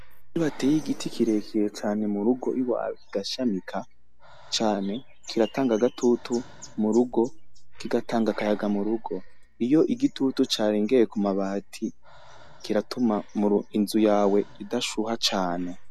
Iyo wateye igiti kirekire cane murugo iwawe gashamika cane kiratanga agatutu murugo kigatanga akayaga murugo iyo igitutu carengeye ku mabati kiratuma inzu yawe idashuha cane.